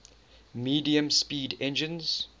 medium speed engines